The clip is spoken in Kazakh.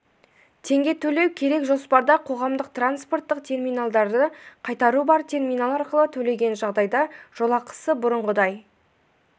теңге төлеу керек жоспарда қоғамдық транспорттық терминалдарды қайтару бар терминал арқылы төлеген жағдайда жолақысы бұрынғыдай